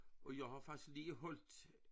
Og jeg har faktisk lige holdt